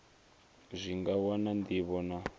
zwi nga wana ndivho na